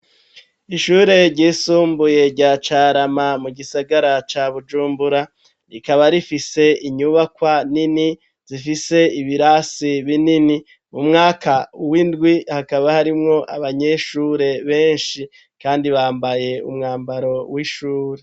Ishure ryisumbuye rya Carama, mu gisagara ca Bujumbura, rikaba rifise inyubakwa nini, zifise ibirasi binini, mu mwaka w'indwi hakaba harimwo abanyeshure benshi, kandi bambaye umwambaro w'ishure.